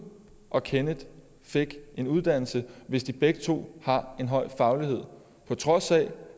og kenneth fik en uddannelse hvis de begge to har en høj faglighed på trods af